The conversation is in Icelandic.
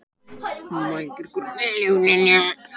Sigþrúður, hvaða dagur er í dag?